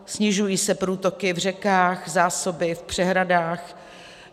Snižují se průtoky v řekách, zásoby v přehradách.